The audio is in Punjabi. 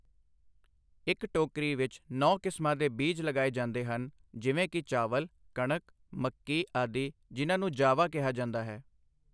ਇੱਕ ਟੋਕਰੀ ਵਿੱਚ ਨੌਂ ਕਿਸਮਾਂ ਦੇ ਬੀਜ ਲਗਾਏ ਜਾਂਦੇ ਹਨ ਜਿਵੇਂ ਕਿ ਚਾਵਲ, ਕਣਕ, ਮੱਕੀ ਆਦਿ ਜਿਨ੍ਹਾਂ ਨੂੰ ਜਾਵਾ ਕਿਹਾ ਜਾਂਦਾ ਹੈ।